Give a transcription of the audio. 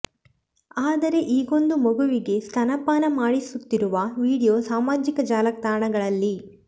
ಆದರೆ ಈಗೊಂದು ಮಗುವಿಗೆ ಸ್ತನ್ಯ ಪಾನ ಮಾಡಿಸುತ್ತಿರುವ ವಿಡಿಯೋ ಸಾಮಾಜಿಕ ಜಾಲತಾಣಗಳಲ್ಲಿ